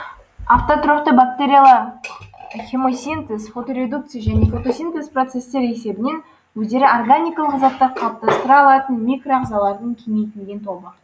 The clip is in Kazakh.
автотрофты бактериялар хемосинтез фоторедукция және фотосинтез процестер есебінен өздері органикалық заттар қалыптастыра алатын микро ағазалардың кеңейтілген тобы